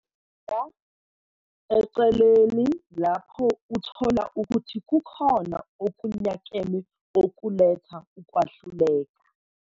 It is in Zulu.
Bheka eceleni lapho uthola ukuthi kukhona okunyakeme okuletha ukwahluleka